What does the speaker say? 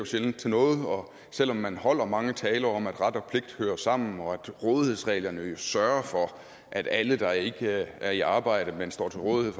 sjældent til noget og selv om man holder mange taler om at ret og pligt hører sammen og at rådighedsreglerne jo sørger for at alle der ikke er i arbejde men står til rådighed